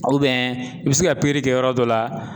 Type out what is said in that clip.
i bɛ se ka kɛ yɔrɔ dɔ la